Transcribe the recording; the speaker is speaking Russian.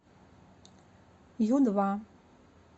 ю два